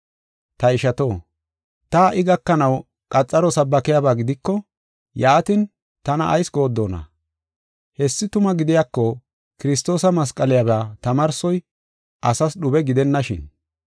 Ta ishato, ta ha77i gakanaw qaxararetethi sabbakiyaba gidiko, yaatin tana ayis gooddona? Hessi tuma gidiyako Kiristoosa masqaliyaba tamaarsoy asas dhube gidennashin.